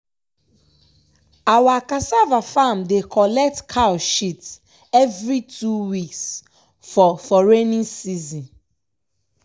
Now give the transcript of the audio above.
awa cassava farm dey collet cow shit every two weeks for for raining season.